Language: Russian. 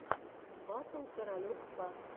батл каролек к